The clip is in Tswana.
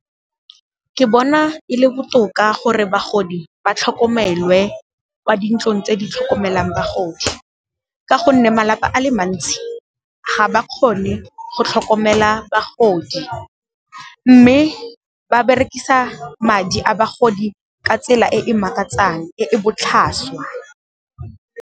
Ke bona e le botoka gore bagodi ba tlhokomelwe kwa dintlong tse di tlhokomelang bagodi ka gonne malapa a le mantsi, ga ba kgone go tlhokomela bagodi mme ba berekisa madi a bagodi ka tsela e e makatsang e e botlhaswa.